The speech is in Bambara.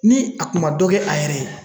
Ni a kun ma dɔ kɛ a yɛrɛ ye